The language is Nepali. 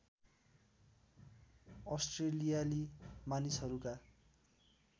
अस्ट्रेलियाली मानिसहरूका